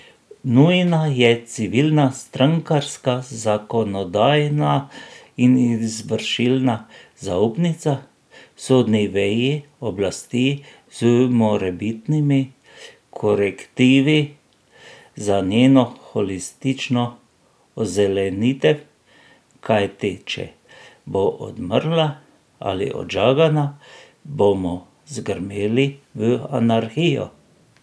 Nujna je civilna, strankarska, zakonodajna in izvršilna zaupnica sodni veji oblasti z morebitnimi korektivi za njeno holistično ozelenitev, kajti če bo odmrla ali odžagana, bomo zgrmeli v anarhijo.